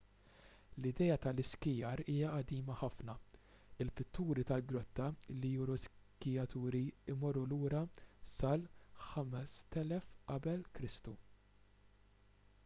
l-idea tal-iskijar hija qadima ħafna il-pitturi tal-grotta li juru skijaturi jmorru lura sal-5000 qk